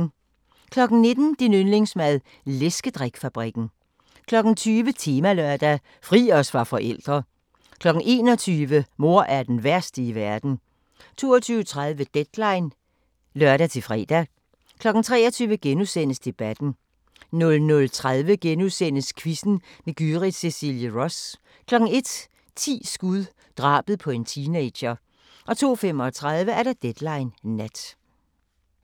19:00: Din yndlingsmad: Læskedrik-fabrikken 20:00: Temalørdag: Fri os fra forældre 21:00: Mor er den værste i verden 22:30: Deadline (lør-fre) 23:00: Debatten * 00:30: Quizzen med Gyrith Cecilie Ross * 01:00: 10 skud – drabet på en teenager 02:35: Deadline Nat